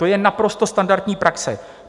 To je naprosto standardní praxe.